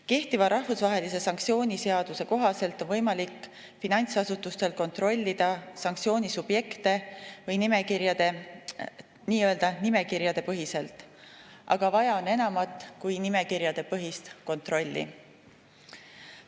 Kehtiva rahvusvahelise sanktsiooni seaduse kohaselt on finantsasutustel võimalik kontrollida sanktsioonisubjekte nii-öelda nimekirjade põhiselt, aga vaja on enamat kui nimekirjapõhist kontrolli.